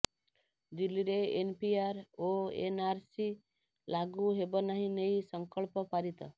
ଦିଲ୍ଲୀରେ ଏନପିଆର ଓ ଏନଆରସି ଲାଗୁ ହେବନାହିଁ ନେଇ ସଂକଳ୍ପ ପାରିତ